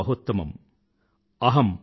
బహుత్తమమ్